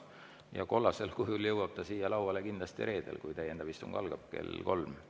Kollase kujul jõuab ta siia lauale kindlasti reedel, kui täiendav istung kell kolm algab.